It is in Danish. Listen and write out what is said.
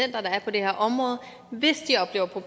er